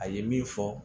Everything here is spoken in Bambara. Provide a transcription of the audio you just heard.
A ye min fɔ